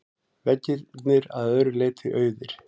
Veggirnir að öðru leyti auðir.